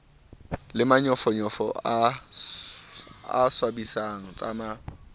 le manyofonyofo a swabisang tsama